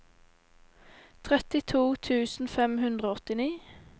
trettito tusen fem hundre og åttini